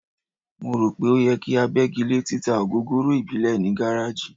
Mo rò pé ó yẹ kí a bẹ́gi lé títa ògógóró ìbílẹ̀ ní gáráàjì.